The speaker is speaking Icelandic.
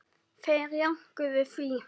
Þeir jánkuðu því.